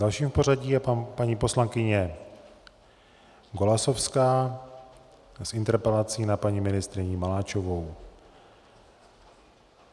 Dalším v pořadí je paní poslankyně Golasowská s interpelací na paní ministryni Maláčovou.